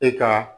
E ka